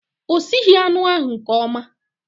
O sighi anụ ahu nke ọma